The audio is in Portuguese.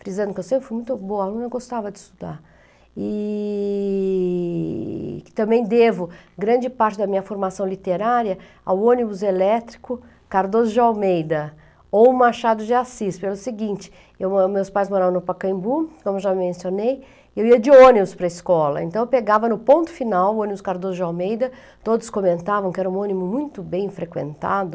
frisando que eu sempre fui muito boa aluna, eu gostava de estudar, e que também devo grande parte da minha formação literária ao ônibus elétrico Cardoso de Almeida ou Machado de Assis, pelo seguinte, eu mo, meus pais moravam no Pacaembu, como já mencionei, eu ia de ônibus para a escola, então eu pegava no ponto final o ônibus Cardoso de Almeida, todos comentavam que era um ônibus muito bem frequentado,